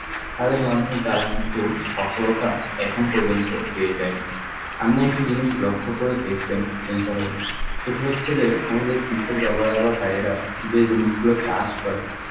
তাদের মাধ্যমেই তারা কিন্তু সফলতা এখন পর্যন্ত পেয়ে যায়নি. আমরা একটি জিনিস লক্ষ্য করে দেখবেন তসলিম সাহেব সেটি হচ্ছে যে আমাদের কৃষক বাবারা বা ভাইয়েরা যে জিনিসগুলো চাষ করে,